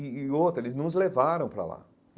E e outra, eles nos levaram para lá.